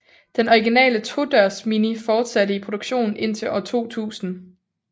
Den originale todørs Mini fortsatte i produktion indtil år 2000